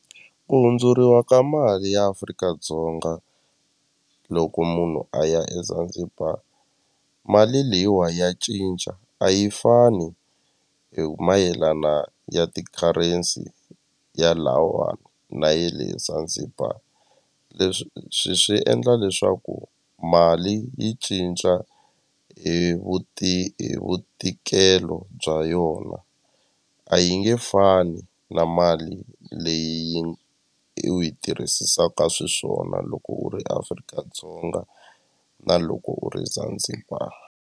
Ku hundzuriwa ka mali ya Afrika-Dzonga loko munhu a ya eZanzibar mali leyiwa ya cinca a yi fani hi mayelana ya ti-currency ya lahawani na ya le Zanzibar leswi swi swi endla leswaku mali yi cinca hi hi vutikelo bya yona a yi nge fani na mali leyi u yi tirhisisaka swiswona loko u ri Afrika-Dzonga na loko u ri Zanzibar.